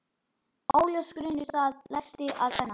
Óljós grunur læðist að Svenna.